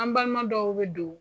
An balima dɔw be don